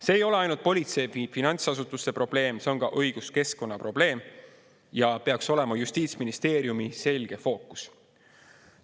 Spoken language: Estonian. See ei ole ainult politsei või finantsasutuste probleem, see on ka õiguskeskkonna probleem ja peaks olema justiitsministeeriumi selge fookus.